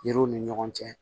Yiriw ni ɲɔgɔn cɛ